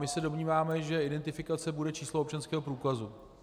My se domníváme, že identifikace bude číslo občanského průkazu.